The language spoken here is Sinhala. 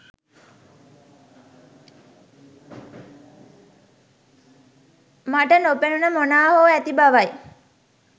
මට නොපෙනුන මොනා හෝ ඇති බවයි